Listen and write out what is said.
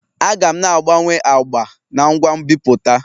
Aga m na-agbanwe agba n' ngwa nbipute